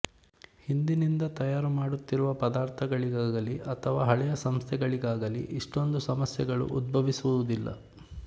ಹಿಂದಿನಿಂದ ತಯಾರು ಮಾಡುತ್ತಿರುವ ಪದಾರ್ಥಗಳಿಗಾಗಲಿ ಅಥವಾ ಹಳೆಯ ಸಂಸ್ಥೆಗಳಿಗಾಗಲಿ ಇಷ್ಟೊಂದು ಸಮಸ್ಯೆಗಳು ಉದ್ಭವಿಸುವುದಿಲ್ಲ